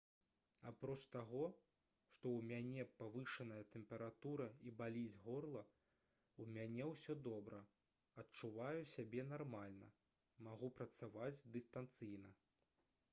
апроч таго што ў мяне павышаная тэмпература і баліць горла у мяне ўсё добра адчуваю сябе нармальна магу працаваць дыстанцыйна